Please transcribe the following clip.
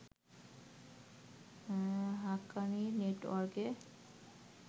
হাক্কানি নেটওয়ার্কের